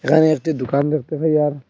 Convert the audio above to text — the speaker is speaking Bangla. এখানে একটি দুকান দেখতে পাই আর--